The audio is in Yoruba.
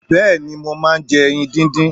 Bẹ́ẹ̀ni, mo máà ń jẹ ẹyin díndín.